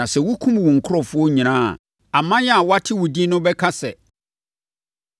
Na sɛ wokum wo nkurɔfoɔ nyinaa a, aman a wɔate wo din no bɛka sɛ,